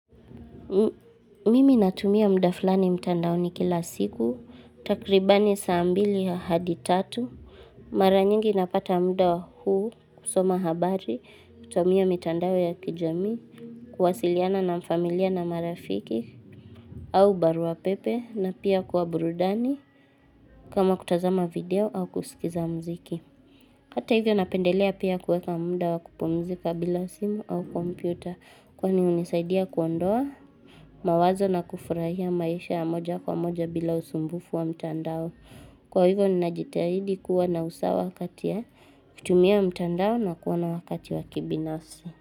Mimi natumia muda fulani mtandaoni kila siku, takriban saa mbili hadi tatu, mara nyingi napata muda huu kusoma habari, kutumia mitandao ya kijamii kuwasiliana na familia na marafiki, au barua pepe na pia kwa burudani kama kutazama video au kusikiza muziki. Hata hivyo napendelea pia kuweka muda wa kupumzika bila simu au kompyuta kwani hunisaidia kuondoa mawazo na kufurahia maisha ya moja kwa moja bila usumbufu wa mtandao. Kwa hivyo ninajitahidi kuwa na usawa kati ya kutumia mtandao na kuwa na wakati wa kibinafsi.